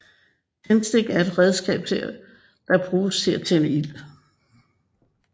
Tændstik er et redskab der bruges til at tænde ild